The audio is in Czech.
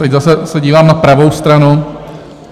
Teď se zase dívám na pravou stranu.